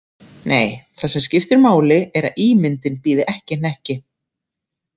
Nei, það sem skiptir máli er að ímyndin bíði ekki hnekki.